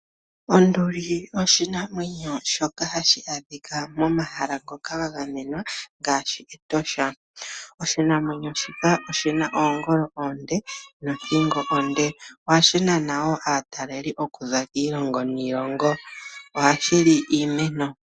Onduli oshinamwenyo shoka hashi adhika mo mahala ngoka ga gamwenwa ngaashi Etosha. Oshinamwenyo shika oshina oongolo oonde nothingo onde, ohashi nana woo aatalelipo okuza kiilongo niilongo. Ohashi li iimeno.